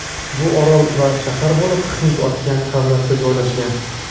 Bu orol-shahar bo‘lib, Hind okeani havzasida joylashgan.